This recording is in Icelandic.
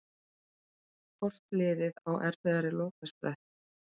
Hvort liðið á erfiðari lokasprett?